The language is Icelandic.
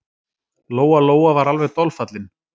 Lóa-Lóa var alveg dolfallin.